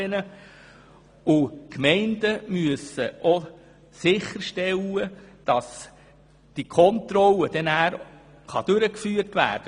Die Gemeinden müssen sicherstellen, dass dann auch Kontrollen durchgeführt werden.